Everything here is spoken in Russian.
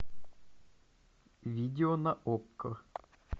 видео на окко